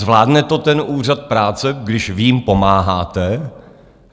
Zvládne to ten Úřad práce, když vy jim pomáháte?